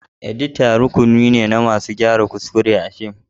Edita rukuni ne na mutane masu gyara kuskure a cikin fim.